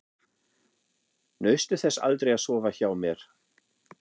Naustu þess aldrei að sofa hjá mér?